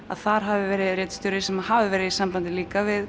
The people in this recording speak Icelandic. að þar hafi verið ritstjóri sem hafi verið í sambandi líka við